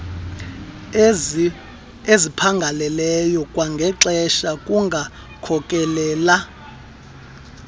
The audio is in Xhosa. esiphangaleleyo kwangexesha kungakhokelela